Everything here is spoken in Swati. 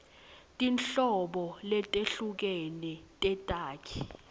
tinhlobo letehlukene tetakhi